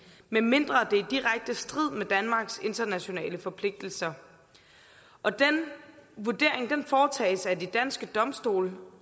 medmindre det er i direkte strid med danmarks internationale forpligtelser og den vurdering foretages af de danske domstole